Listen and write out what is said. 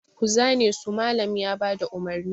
Ku zane su! Mallam ya ba da umarni.